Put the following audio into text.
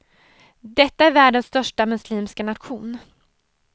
Detta är världens största muslimska nation.